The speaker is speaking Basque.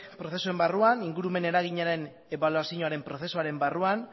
prozesuen barruan ingurumen eraginaren ebaluazioaren prozesuaren barruan